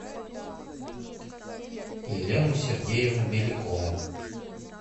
елену сергеевну белякову